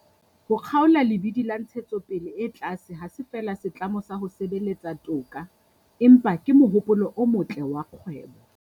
Ho kgaola lebidi la ntshetsopele e tlase ha se feela setlamo sa ho sebeletsa toka, empa ke mohopolo o motle wa kgwebo.